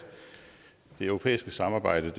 det europæiske samarbejde